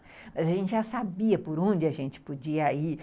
Mas a gente já sabia por onde a gente podia ir